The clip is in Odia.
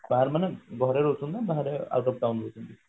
ବାହାରେ ମାନେ ଘରେ ରହୁଛନ୍ତି ନା ବାହାରେ out of town ରହୁଛନ୍ତି